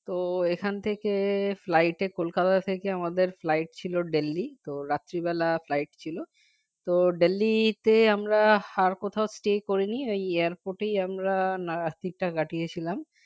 তো এখন থেকে flight এ kolkata থেকে আমাদের flight ছিল Delhi তো রাত্রিবেলা flight ছিল তো Delhi তে আমরা আর কোথাও stay করিনি এই airport এ আমরা রাত্তিরটা কাটিয়েছিলাম